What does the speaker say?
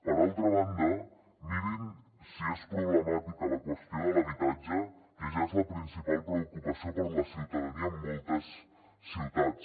per altra banda mirin si és problemàtica la qüestió de l’habitatge que ja és la principal preocupació per a la ciutadania en moltes ciutats